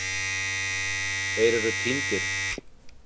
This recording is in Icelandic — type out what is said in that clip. Þeir eru týndir.